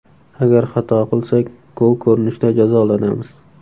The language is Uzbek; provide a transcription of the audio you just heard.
Agar xato qilsak, gol ko‘rinishida jazolanamiz.